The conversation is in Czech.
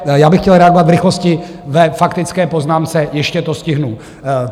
Já bych chtěl reagovat v rychlosti ve faktické poznámce, ještě to stihnu.